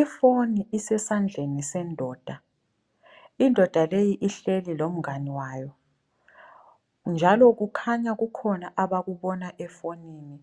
I foni isesandleni sendoda. Indoda leyi ihleli lomngane wayo. Njalo kukhanya kukhona abakubona efonini,